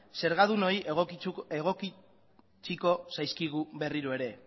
zergadunoi egotziko zaizkigu berriro ere